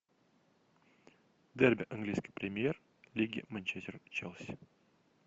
дерби английской премьер лиги манчестер челси